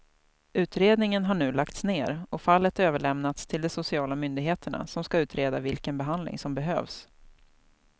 Utredningen har nu lagts ner och fallet överlämnats till de sociala myndigheterna som ska utreda vilken behandling som behövs.